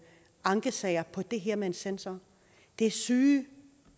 ankesager om det her med en sensor det er syge